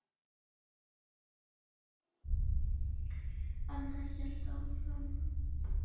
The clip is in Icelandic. Anna hélt áfram.